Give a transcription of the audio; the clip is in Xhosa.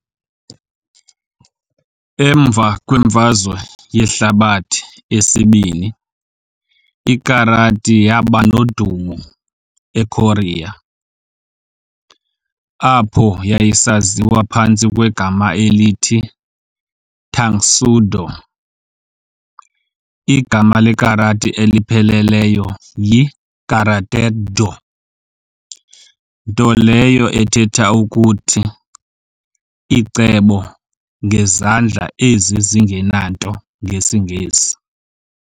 Emva kwemfazwe yehlabathi esi-II, iKarati yabanodumo eKorea, apho yayisaziwa phantsi kwegama elithi "tangsudo". igama lekarati elipheleleyo yi"Karate-do" nto leyo ethetha ukuthi "icebo ngezandla ezi zingenanto" ngesiNgesi.